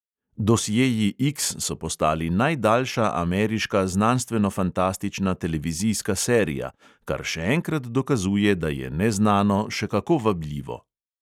Dosjeji X so postali najdaljša ameriška znanstvenofantastična televizijska serija, kar še enkrat dokazuje, da je neznano še kako vabljivo.